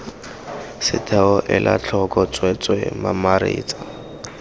setheo ela tlhoko tsweetswee mamaretsa